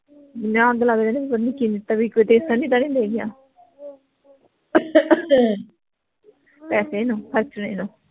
ਮੈਂ ਅੱਗ ਲੱਗ ਜਾਣੀ ਇਹਨੂੰ ਚਿੰਤਾ ਵੀ ਤਾਂ ਨੀ ਦੇ ਗਿਆ ਪੈਸੇ ਇਹਨੂੰ ਖਰਚਣੇ ਨੂੰ